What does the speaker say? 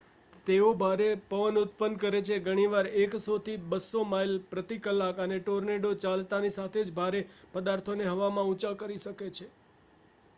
તેઓ ભારે પવન ઉત્પન્ન કરે છે ઘણીવાર 100-200 માઇલ/કલાક અને ટોર્નેડો ચાલતાંની સાથે જ ભારે પદાર્થોને હવામાં ઉંચા કરી શકે છે